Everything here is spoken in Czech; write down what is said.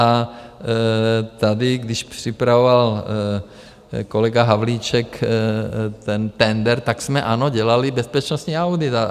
A tady když připravoval kolega Havlíček ten tendr, tak jsme, ano, dělali bezpečnostní audit.